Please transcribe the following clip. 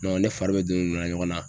ne fari bɛɛ don donna ɲɔgɔn na.